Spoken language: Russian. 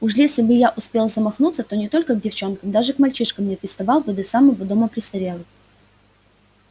уж если бы я успел замахнуться то не только к девчонкам даже к мальчишкам не приставал бы до самого дома престарелых